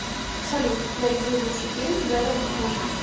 салют найди лучший фильм с брэдом питтом